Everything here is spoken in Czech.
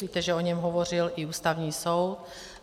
Víte, že o něm hovořil i Ústavní soud.